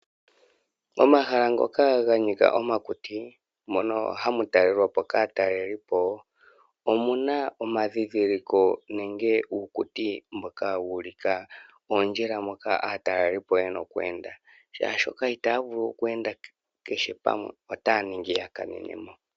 Omahala ngoka ganika omakuti mono hamu talelwapo kaatalelipo omuna omandhindhiliko nenge uukuti mboka wu ulika oondjila moka aatalelipo yena oku enda, oshoka itaya vulu oku enda kehe pamwe otaya vulu yakanenemo.